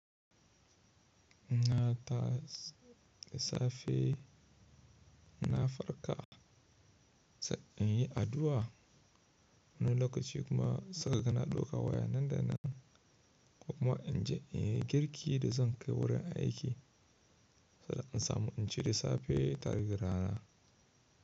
In na tashi da safe, in na farka sai in yi addu'a. Wani lokaci kuma sai ka gana ɗauka waya nanda nan. Ko kuma in je in yi girki da zan kai wurin aiki, saboda in samu in ci da safe tare da rana.